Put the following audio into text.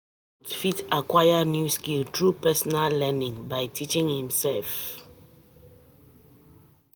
Adult fit acquire new skills through personal learning, by teaching imself